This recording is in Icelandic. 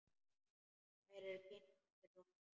Þær eru kynntar fyrir honum.